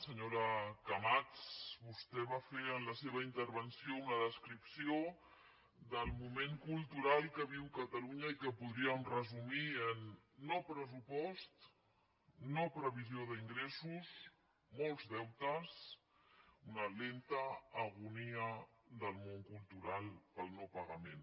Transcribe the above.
senyora camats vostè va fer en la seva intervenció una descripció del moment cultural que viu catalunya i que podríem resumir en no pressupost no previsió d’ingressos molts deutes una lenta agonia del món cultural pel no pagament